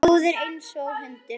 Góður einsog hundur.